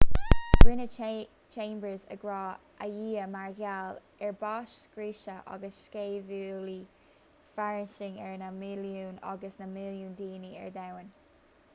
rinne chambers agra ar dhia mar gheall ar bás scriosadh agus sceimhliú fairsing ar na milliúin agus na milliúin daoine ar domhan